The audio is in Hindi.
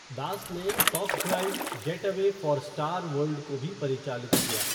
दास ने top drive getaway for Star World को भी परिचालित किया।